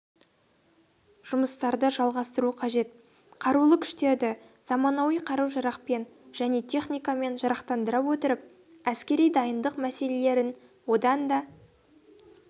жұмыстарды жалғастыру қажет қарулы күштерді заманауи қару-жарақпен және техникамен жарақтандыра отырып әскери дайындық мәселелерін одан